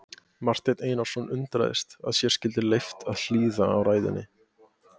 Marteinn Einarsson undraðist að sér skyldi leyft að hlýða á ræðuna.